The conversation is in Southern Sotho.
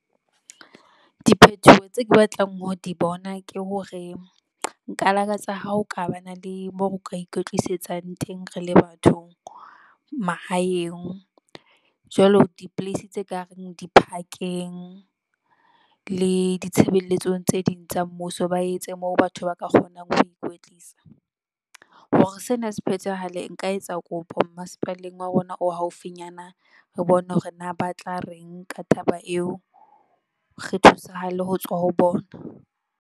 Diphethoho tse ke batlang ho di bona ke hore, nka lakatsa ha o ka ba na le moo o ka ikwetlisetsa teng. Rele batho mahaeng jwalo di- place tse kareng di-park-eng le ditshebelletsong tse ding tsa mmuso. Ba etse moo batho ba ka kgonang ho ikwetlisa, hore sena se phethahale. Nka etsa kopo masepaleng wa rona o haufinyana. Re bone hore na ba tla reng ka taba eo re thusahale ho tswa ho bona.